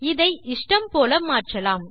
இதை இஷ்டம் போல மாற்றலாம்